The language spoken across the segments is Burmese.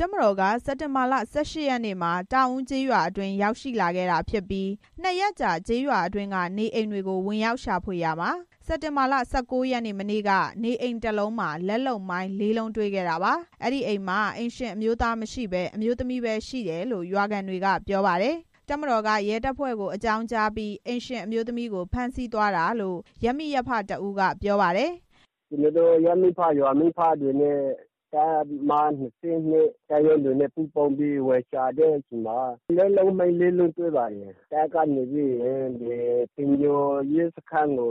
တော်က စက်တင်ဘာလ ၁၈ ရက်နေ့မှာ တောင်ဦးကျေးရွာအတွင်း ရောက်လာခဲ့တာဖြစ်ပြီး နှစ်ရက်ကြာကျေး ရွာအတွင်းက နေအိမ်တွေကို ဝင်ရောက်ရှာဖွေရာမှာ စက်တင်ဘာလ ၁၉ ရက်နေ့ မနေ့က နေအိမ်တစ်လုံးမှာ လက်လုပ်မိုင်း ၄ လုံးတွေ့ခဲ့တာပါ။ အဲဒီအိမ်မှာ အိမ်ရှင်အမျိုးသားမရှိဘဲ အမျိုးသမီးပဲရှိတယ်လို့ ရွာခံတွေကပြောပါတယ်။ တပ်မတော်က ရဲတပ်ဖွဲ့ကို အကြောင်းကြားပြီး အိမ်ရှင်အမျိုးသမီးကို ဖမ်းဆီးသွားတာလို့ ရပ်မိရပ်ဖတစ်ဦးက ပြောပါတယ်။ “ကျနော်တို့ ရပ်မိဖ၊ ရွာမိဖတွေနဲ့ တပ်မ ၂၂ တပ်ရင်းတွေနဲ့ ပူးပေါင်းပြီး ဝင်ရှာတဲ့အချိန်မှာ လက်လုပ်မိုင်း လေးလုံးတွေ့ပါတယ်။ တပ်ကနေပြီးရင် တိမ်ညိုရဲစခန်းကို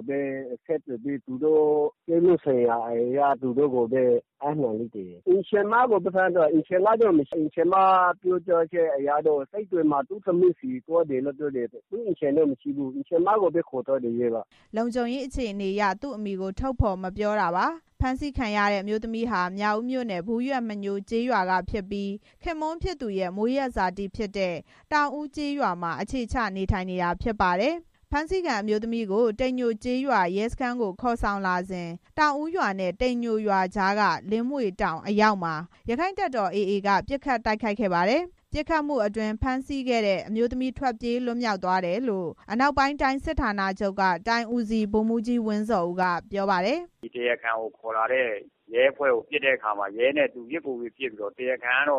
ဆက်သွယ်ပြီး ပြစ်မှုဆိုင်ရာအရ အပ်နှံလိုက်တယ်။ အိမ်ရှင်မကိုပဲ ဖမ်းသွားတယ်။ အိမ်ရှင်ကတော့ မရှိဘူး။ အိမ်ရှင်မပြောကြားချက်အရတော့ စစ်တွေမှာ သူ့သမီးဆီသွားတယ်လို့ ပြောတယ်။” လုံခြုံရေးအခြေအနေအရ သူ့အမည်ကို ထုတ်ဖော်မပြောတာပါ။ ဖမ်းဆီးခံရတဲ့ အမျိုးသမီးဟာ မြောက်ဦးမြို့နယ် ဘူးရွက်မညိုးကျေးရွာက ဖြစ်ပြီး ခင်ပွန်းဖြစ်သူရဲ့ မွေးရပ်ဇာတိဖြစ်တဲ့ တောင်ဦးကျေးရွာမှာ အခြေချနေထိုင်နေတာဖြစ်ပါတယ်။ ဖမ်းဆီးခံအမျိုးသမီးကို တိမ်ညိုကျေးရွာရဲစခန်းကိုခေါ်ဆောင်လာစဉ် တောင်ဦးရွာနဲ့ တိမ်ညိုရွာကြားက လင်းမြွေတောင်အရောက်မှာ ရက္ခိုင့်တပ်တော် AA က ပစ်ခတ်တိုက်ခိုက်ခဲ့ပါတယ်။ ပစ်ခတ်မှုအတွင်း ဖမ်းဆီးခဲ့တဲ့ အမျိုးသမီး ထွက်ပြေးလွတ်မြောက်သွားခဲ့တယ်လို့ အနောက်ပိုင်းတိုင်းစစ်ဌာနချုပ်က တိုင်းဦးစီးဗိုလ်မှူးကြီး ဝင်းဇော်ဦး က ပြောပါတယ်။ “တရားခံကို ခေါ်လာတဲ့ ရဲတပ်ဖွဲ့ကို ပစ်တဲ့အခါ ရဲနဲ့ သူပစ်ကိုယ်ပစ် ပစ်ပြီး တရားခံက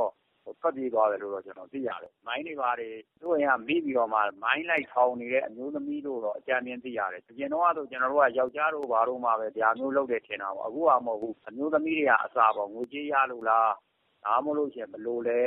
ထွက်ပြေးသွားတယ်လို့ ကျနော်တို့ သိရတယ်။ မိုင်းတွေဘာတွေ သူ့အိမ်က မိပြီး မိုင်းလိုက်ထောင်နေတဲ့ အမျိုးသမီးလို့ ကျနော်တို့ အကြမ်းဖျဉ်း သိရတယ်။ အရင်က ယောကျာ်းတို့ဘာတို့ပဲ ဒါမျိုးလုပ်တယ်ထင်တာ။ အခုဟာမဟုတ်ဘူး။ အမျိုးသမီးတွေက ငွေကြေးရလို့လား ဒါမှမဟုတ်ရင် ဘယ်လိုလဲ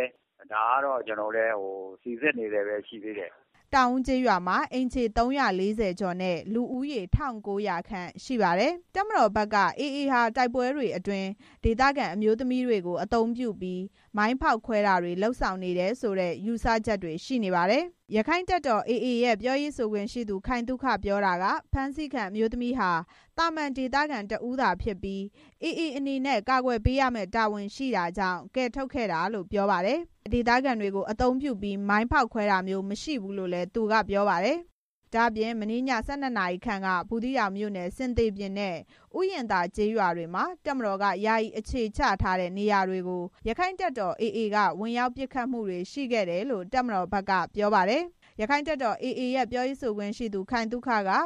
ဒါကတော့ ကျနော်တို့ စီစစ်နေဆဲပဲ ရှိသေးတယ်။” တောင်ဦးကျေးရွာမှာ အိမ်ခြေ ၃၄၀ ကျော်နဲ့ လူဦးရေ ၁၉၀၀ ခန့်ရှိပါတယ်။ တပ်မတော်ဘက်က AA ဟာ တိုက်ပွဲတွေအတွင်း ဒေသခံအမျိုးသမီးတွေကို အသုံးပြုပြီး မိုင်းဖောက်ခွဲတာတွေ လုပ်ဆောင်နေတယ်ဆိုတဲ့ ယူဆချက်တွေ ရှိနေပါတယ်။ ရခိုင်တပ်တော် AA ရဲ့ ပြောရေးဆိုခွင့်ရှိသူ ခိုင်သုခပြောတာက ဖမ်းဆီးခံအမျိုးသမီးဟာ သာမာန် ဒေသခံတစ်ဦး သာဖြစ်ပြီး AA အနေနဲ့ ကာကွယ်ပေးရမယ့် တာဝန်ရှိတာကြောင့် ကယ်ထုတ်ခဲ့တာလို့ ပြောပါတယ်။ AA အနေနဲ့ ဒေသခံတွေကို အသုံးပြုပြီး မိုင်းဖောက်ခွဲတာမျိုး မရှိဘူးလို့လည်း သူကပြောပါတယ်။ ဒါ့အပြင် မနေ့ည ၁၂ နာရီခန့်က ဘူးသီးတောင်မြို့နယ်၊ ဆင်သေပြင်နဲ့ ဥယျာဉ်သာကျေးရွာတွေမှာ တပ်မတော်က ယာယီအခြေချထားတဲ့ နေရာတွေကို ရက္ခိုင့်တပ်တော် AA က ဝင်ရောက်ပစ်ခတ်မှုတွေရှိခဲ့တယ်လို့ တပ်မတော် ဘက်က ပြောပါတယ်။ ရက္ခိုင့်တပ်တော် AA ရဲ့ ပြောရေးဆိုခွင့်ရှိသူ ခိုင်သုခက ဥယျာ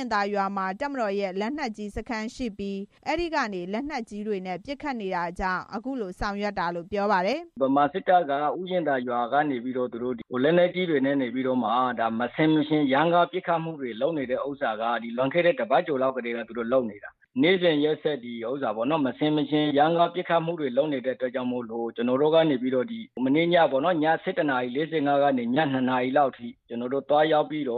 ဉ်သာရွာမှာ တပ်မတော်ရဲ့ လက်နက်ကြီးစခန်းရှိပြီး အဲဒီကနေလက်နက်ကြီးတွေနဲ့ ပစ်ခတ်နေတာကြောင့် အခုလို ဆောင်ရွက်တာလို့ ပြောပါတယ်။ “ဗမာစစ်တပ်က ဥယျာဉ်သာရွာကနေပြီးတော့ လက်နက်ကြီးတွေနဲ့ နေပြီးမှ မဆင်မခြင်ရမ်းကားပစ်ခတ်မှုတွေ လုပ်ခဲ့တာက လွန်ခဲ့တဲ့ တစ်ပတ်ကျော်လောက်ထဲက သူတို့လုပ်နေတာ။ နေ့စဉ်ရက်ဆက် မဆင်မခြင် ရမ်းကား ပစ်ခတ်မှုတွေလုပ်နေတဲ့အတွက် ကျနော်တို့က ည၁၁ နာရီ ၄၅ ကနေ ည ၂ နာရီလောက်အထိ ကျနော်တို့ သွားရောက်ပြီး သ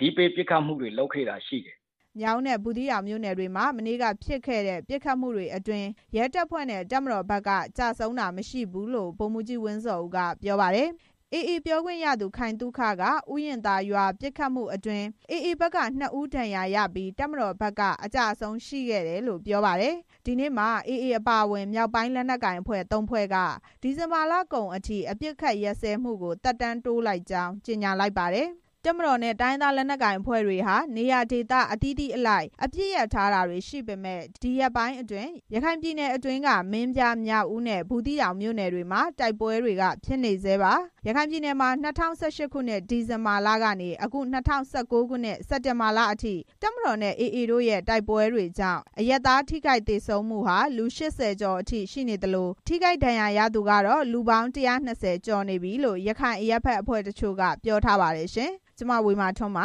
တိပေးပစ်ခတ်မှုတွေလုပ်ခဲ့တာရှိတယ်။” မြောက်ဦးနဲ့ ဘူးသီးတောင်မြို့နယ်တွေမှာ မနေ့က ဖြစ်ခဲ့တဲ့ ပစ်ခတ်မှုတွေအတွင်း ရဲတပ်ဖွဲ့နဲ့ တပ်မတော်ဘက်က ကျဆုံးတာမရှိဘူးလို့ ဗိုလ်မှူးကြီးဝင်းဇော်ဦးက ပြောပါတယ်။ AA ပြောခွင့်ရသူ ခိုင်သုခက ဥယျာဉ်သာရွာပစ်ခတ်မှုအတွင်း AA ဘက်က နှစ်ဦးဒဏ်ရာရပြီး တပ်မတော်ဘက် အကျအဆုံးရှိတယ်လို့ ပြောပါတယ်။ ဒီနေ့မှာ AA အပါအဝင် မြောက်ပိုင်းလက်နက်ကိုင်အဖွဲ့ ၃ ဖွဲ့က ဒီဇင်ဘာလကုန်အထိ အပစ်ရပ်စဲမှုကို သက်တမ်း တိုးလိုက်ကြောင်း ကြေညာလိုက်ပါတယ်။ တပ်မတော်နဲ့ တိုင်းရင်းသားအဖွဲ့တွေဟာ နေရာဒေသအသီးသီးအလိုက် အပစ်ရပ်ထားတာတွေ ရှိနေပေမယ့် ဒီရက်ပိုင်းအတွင်း ရခိုင်ပြည်နယ်အတွင်းက မင်းပြား၊ မြောက်ဦးနဲ့ ဘူးသီးတောင်မြို့နယ်တွေမှာ တိုက်ပွဲတွေက ဖြစ်နေဆဲပါ။ ရခိုင်ပြည်နယ်မှာ ၂၀၁၈ ဒီဇင်ဘာလကနေ အခု ၂၀၁၉ စက်တင်ဘာလအထိ တပ်မတော်နဲ့ AA တို့ တိုက်ပွဲကြောင့် အရပ်သား ထိခိုက်သေဆုံးမှုဟာ လူ ၈၀ ကျော်အထိရှိနေသလို ထိခိုက်ဒဏ်ရာရ သူတွေကတော့ လူပေါင်း ၁၂၀ ကျော်လောက်အထိရှိနေပြီလို့ ရခိုင်အရပ်ဖက်အဖွဲ့တချို့က ပြောဆိုထားပါတယ်။ (RFA သတင်းထောက် ဝေမာထွန်း